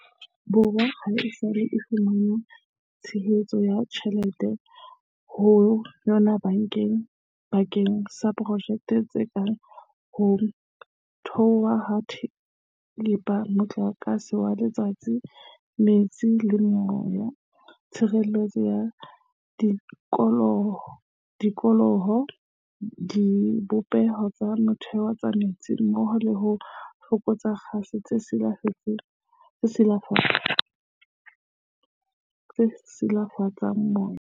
Borwa haesale e fumana tshehetso ya ditjhe lete ho yona bakeng sa projeke tse kang ho thothwa ha thepa, motlakase wa letsatsi, metsi le moya, tshireletso ya tikoloho, dibopeho tsa motheo tsa metsi mmoho le ho fokotsa kgase tse silafatsang moya.